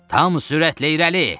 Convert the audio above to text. Tam sürətlə irəli!